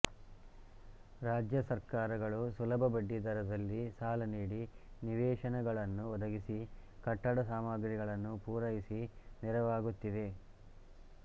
ರಾಜ್ಯ ಸರ್ಕಾರಗಳು ಸುಲಭ ಬಡ್ಡಿದರದಲ್ಲಿ ಸಾಲ ನೀಡಿ ನಿವೇಶನಗಳನ್ನು ಒದಗಿಸಿ ಕಟ್ಟಡ ಸಾಮಗ್ರಿಗಳನ್ನು ಪುರೈಸಿ ನೆರವಾಗುತ್ತಿವೆ